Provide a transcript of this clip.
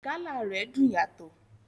Gala rẹ dùn yàtọ̀.